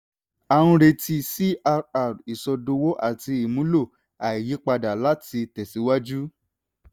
a ń retí crr ìsọdowó àti ìmúlò àìyípadà láti tẹ̀síwájú.